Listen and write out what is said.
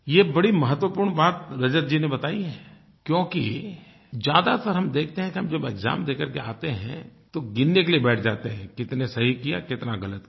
ये बड़ी महत्वपूर्ण बात रजत जी ने बताई है क्योंकि ज्यादातर हम देखते हैं कि हम जब एक्साम दे करके आते हैं तो गिनने के लिए बैठ जाते हैं कितने सही किया कितना गलत किया